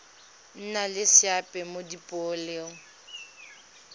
nna le seabe mo dipoelong